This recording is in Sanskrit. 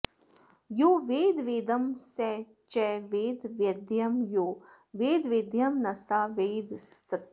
यो वेद वेदं स च वेद वेद्यं यो वेद वेद्यं न स वेद सत्यम्